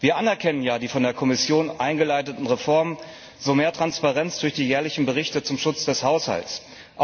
Wir erkennen ja die von der Kommission eingeleiteten Reformen zu mehr Transparenz durch die jährlichen Berichte zum Schutz des Haushalts an.